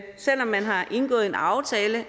selv om man har indgået en aftale